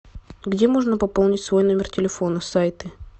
где можно пополнить свой номер телефона сайты